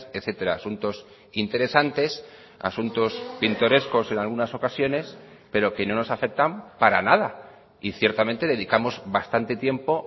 etcétera asuntos interesantes asuntos pintorescos en algunas ocasiones pero que no nos afectan para nada y ciertamente dedicamos bastante tiempo